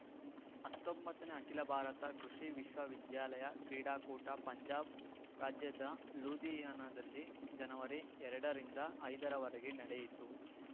ಹತ್ತೊಂಬತ್ತನೇ ಅಖಿಲ ಭಾರತ ಕೃಷಿ ವಿಶ್ವ ವಿದ್ಯಾಲಯ ಕ್ರೀಡಾಕೂಟ ಪಂಜಾಬ್‌ ರಾಜ್ಯದ ಲೂಧಿಯಾನದಲ್ಲಿ ಜನವರಿ ಎರಡರಿಂದ ಐದರವರೆಗೆ ನಡೆಯಿತು